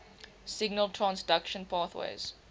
signal transduction pathways